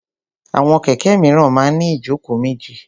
Àwọn kẹ̀kẹ́ míràn máa ń ní ìjókòó méjì.